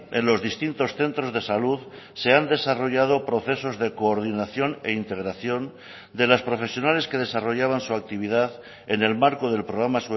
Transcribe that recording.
en los distintos centros de salud se han desarrollado procesos de coordinación e integración de las profesionales que desarrollaban su actividad en el marco del programa